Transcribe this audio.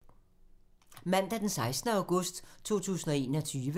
Mandag d. 16. august 2021